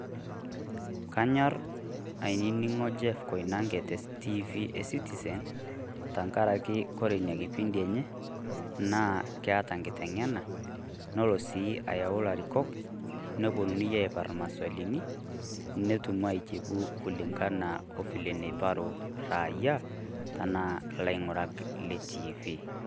Kanyorr ainining'o Jeff Koinange te Tiifii eCitizen tengaraki ore Ina kipindi enye naa keeta engitenge'ena nelo sii ayau ilarikok neponunui aiparr imaswalini netum aijibu okulingana o fiile naiparu rrayia naa ilaing'urak le Tiifii.